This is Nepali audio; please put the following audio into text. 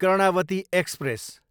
कर्णावती एक्सप्रेस